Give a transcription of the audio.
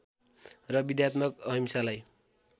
र विद्यात्मक अहिंसालाई